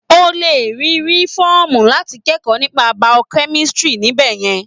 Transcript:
O lè rí rí fọ́ọ̀mù láti kẹ́kọ̀ọ́ nípa Biochemistry níbẹ̀ yẹn.